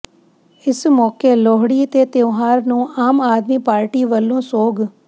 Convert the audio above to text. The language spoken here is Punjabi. ਇਸ ਮੌਕੇਲੋਹੜੀ ਤੇ ਤਿਉਹਾਰ ਨੂੰ ਆਮ ਆਦਮੀ ਪਾਰਟੀ ਵੱਲੋਂ ਸੋਗ